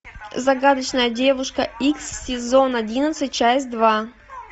загадочная девушка икс сезон одиннадцать часть два